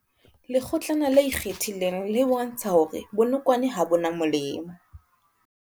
Lekgotlana le ikgethileng le bontsha hore bonokwane ha bo na molemo.